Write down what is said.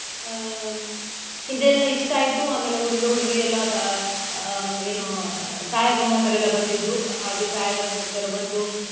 ಆಹ್ ಇದೆಲ್ಲ ಇಷ್ಟಾಯ್ತು ಆಮೇಲೆ ಹುಡುಗ ಹುಡುಗಿಯಲ್ಲ ಪ~ ಆಹ್ ಏನೊ ಛಾಯಗ್ರಾಹಕರೆಲ್ಲ ಬಂದಿದ್ರು ಹಾಗೆ ಛಾಯಾಗ್ರಾಹಕರು ಬಂದು.